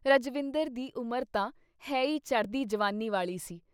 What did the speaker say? ਰਜਵਿੰਦਰ ਦੀ ਉਮਰ ਤਾਂ ਹੈ ਈ ਚੜ੍ਹਦੀ ਜਵਾਨੀ ਵਾਲ਼ੀ ਸੀ।